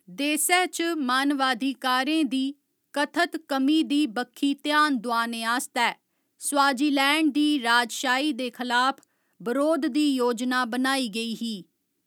देसै च मानवाधिकारें दी कथत कमी दी बक्खी ध्यान दोआने आस्तै स्वाजीलैंड दी राजशाही दे खलाफ बरोध दी योजना बनाई गेई ही।